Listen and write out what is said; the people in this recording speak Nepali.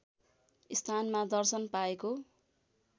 स्थानमा दर्शन पाएको